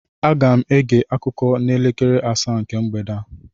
Aga m ege akụkọ n'elekere asaa nke mgbede a